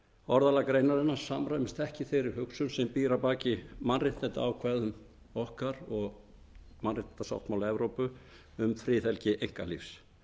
orðalag greinarinnar samrýmist ekki þeirri hugsun sem býr að baki mannréttindaákvæðum okkar og mannréttindasáttmála evrópu um friðhelgi einkalífs